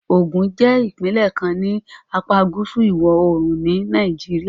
Ogun jẹ́ ìpínlẹ̀ kan ní apá gúúsù ìwọ̀-oòrùn ni Nàìjíríà